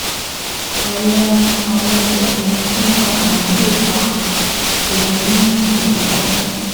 Àwọn Àwọn kòkòrò tó ń fa àrùn lè fa òórùn burúkú